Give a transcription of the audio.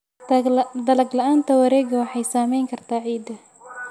Dalag la'aanta wareegga waxay saameyn kartaa ciidda.